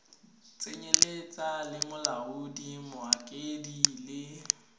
tsenyeletsa le molaodi mokaedi le